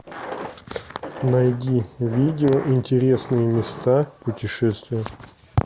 найди видео интересные места путешествия